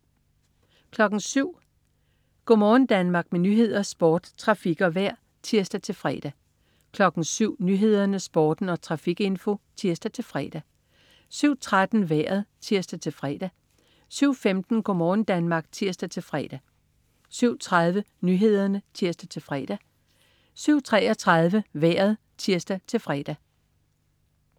07.00 Go' morgen Danmark. Med nyheder, sport, trafik og vejr (tirs-fre) 07.00 Nyhederne, Sporten og trafikinfo (tirs-fre) 07.13 Vejret (tirs-fre) 07.15 Go' morgen Danmark (tirs-fre) 07.30 Nyhederne (tirs-fre) 07.33 Vejret (tirs-fre)